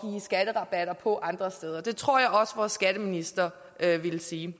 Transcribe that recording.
skatterabatter på andre steder det tror jeg også vores skatteminister ville sige